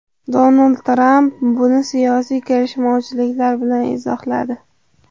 Donald Tramp buni siyosiy kelishmovchiliklar bilan izohladi.